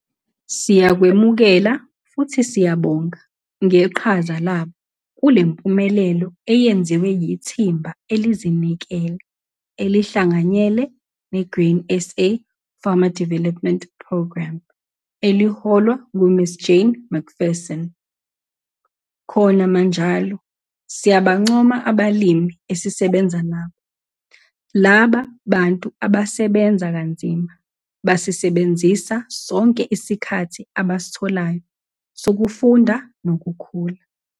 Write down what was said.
Siyakwemukela futhi siyabonga ngeqhaza labo kulempumelelo eyenziwe yithimba elizinikele elihlanganyele ne-Grain SA Farmer Development Programme eliholwa ngu-Ms Jane McPherson. Khona manjalo, siyabancoma abalimi esisebenza nabo. Laba bantu abasebenza kanzima basisebenzisa sonke isikhathi abasitholayo sokufunda nokukhula.